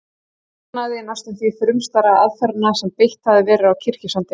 Saknaði næstum því frumstæðra aðferðanna sem beitt hafði verið á Kirkjusandi.